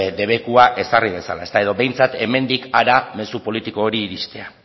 debekua ezarri dezala edo behintzat hemendik hara mezu politiko hori iristea